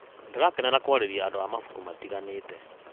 Ndĩrakenera kũarĩrĩria andũ a mabuku matiganĩte.